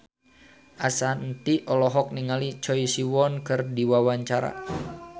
Ashanti olohok ningali Choi Siwon keur diwawancara